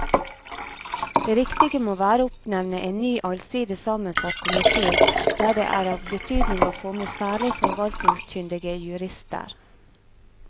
Det riktige må være å oppnevne en ny allsidig sammensatt komite der det er av betydning å få med særlig forvaltningskyndige jurister.